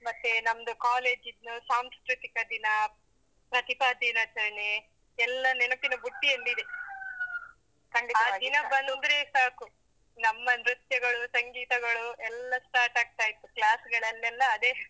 ಮತ್ತೆ ನಮ್ದು ಕಾಲೇಜಿದು ಸಾಂಸ್ಕೃತಿಕ ದಿನ, ಪ್ರತಿಭಾ ದಿನಾಚರಣೆ, ಎಲ್ಲ ನೆನಪಿನ ಬುಟ್ಟಿಯಲ್ಲಿ ಇದೆ. ಆ ದಿನ ಬಂದ್ರೆ ಸಾಕು. ನಮ್ಮ ನೃತ್ಯಗಳು, ಸಂಗೀತಗಳು, ಎಲ್ಲಾ start ಆಗ್ತಾ ಇತ್ತು. class ಗಳಲ್ಲೆಲ್ಲಾ ಅದೇ.